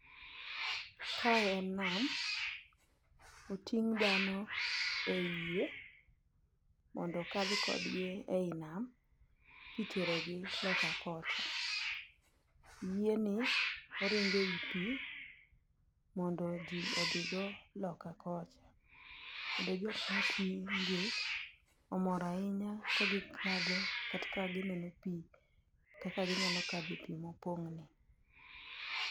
Kae en nam, oting' dhano ei yie mondo okadh kodgi ei nam kiterogi loka kocha. Yie ni oringo ei pi, mondo ji odhigo loka kocha. Kendo jokmo ting' gi omor ahinya ka gikadho kata ka gineno pi kaka ginyalo kadhe pi mopong' ni.